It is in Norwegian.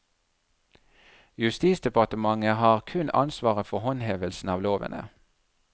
Justisdepartementet har kun ansvaret for håndhevelsen av lovene.